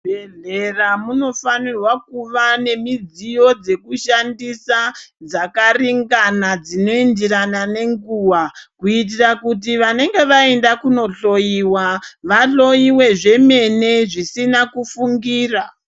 Muzvibhedhlera munofanirwa kuva nemidziyo dzekushandisa dzakaringana dzinoenderana nenguva kuitira kuti vanenge vaenda kunohloyiwa vahloyiwe zvemene zvisina kufungira .